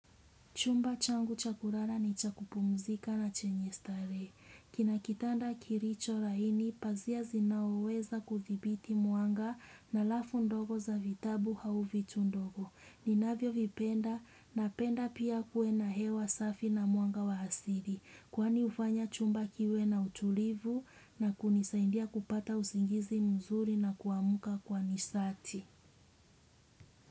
Chumba changu cha kulala ni cha kupumzika na chenye starehe. Kinakitanda kilicho laini, pazia zinazoweza kudhibiti mwanga na lafu ndogo za vitabu au vitu ndogo. Ninavyo vipenda, napenda pia kuwe na hewa safi na mwanga wa asili. Kwani hufanya chumba kiwe na utulivu na kunisaidia kupata usingizi mzuri na kuamuka kwa nishati.